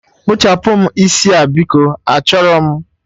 Kpụchapụm isi a biko, achọrọ m!